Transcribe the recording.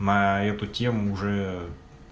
на эту тему уже